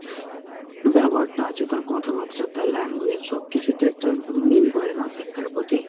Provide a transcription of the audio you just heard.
ব্যবহারটা আছে। তার কথাবার্তা তার language সব কিছুতে একটা mean করে না শিক্ষার প্রতি।